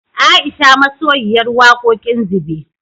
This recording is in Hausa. Aisha masoyiyar wakoƙin zube